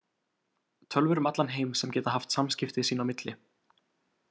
Tölvur um allan heim sem geta haft samskipti sín á milli.